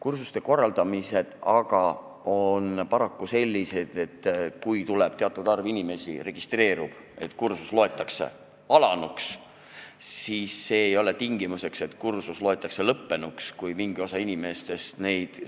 Kursuste korraldamisega aga on paraku nii, et kui registreerub teatud arv inimesi, siis kursus loetakse alanuks, aga ei ole tingimust, et kursus loetakse lõppenuks siis, kui mingi osa inimestest